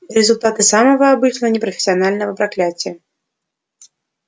результаты самого обычного непрофессионального проклятия